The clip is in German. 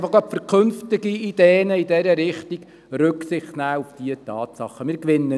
Gerade für künftige Ideen in diese Richtung bitte ich Sie, auf diese Tatsachen Rücksicht zu nehmen.